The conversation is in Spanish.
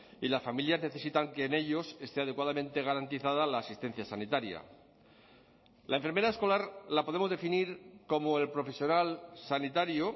y las familias necesitan que en ellos esté adecuadamente garantizada la asistencia sanitaria la enfermera escolar la podemos definir como el profesional sanitario